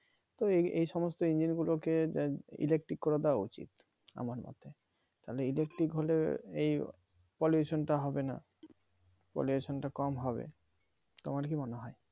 তো এই সমস্ত engine গুলোকে electric করে দেওয়া উচিত আমার মতে তাহলে electric হলে এই pollution টা হবে না pollution টা কম হবে তোমার কি মনে হয়